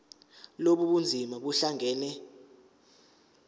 lobu bunzima buhlangane